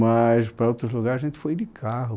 Mas para outros lugares, a gente foi de carro.